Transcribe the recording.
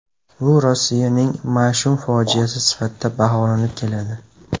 Bu Rossiyaning mash’um fojiasi sifatida baholanib keladi.